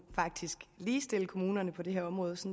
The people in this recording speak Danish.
ligestille kommunerne på det her område